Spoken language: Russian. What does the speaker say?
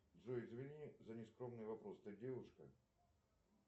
джой извини за нескромный вопрос ты девушка